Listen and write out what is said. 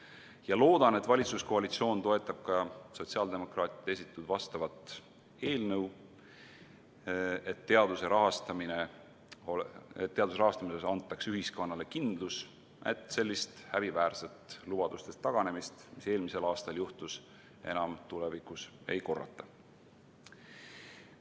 Ma loodan, et valitsuskoalitsioon toetab ka sotsiaaldemokraatide esitatud eelnõu, mille kohaselt teaduse rahastamisel antaks ühiskonnale kindlus, et sellist häbiväärset lubadustest taganemist, nagu eelmisel aastal juhtus, enam tulevikus ei korrata.